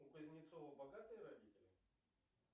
у кузнецова богатые родители